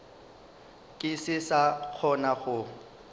ke se sa kgona go